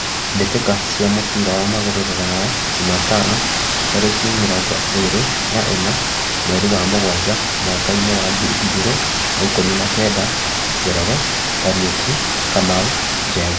Mbĩ tĩ ka cia mũbira wa magũrũ Ruraya Jumatano tarĩ ki mĩ rongo ĩ rĩ na ĩ na mweri wa mugwanja mwakainĩ wa ngiri igĩ rĩ na ikũmi na kenda: Njoroge, Kariuki, Kamau, Njenga.